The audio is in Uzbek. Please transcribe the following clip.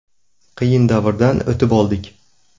Qiyin davrdan o‘tib oldik.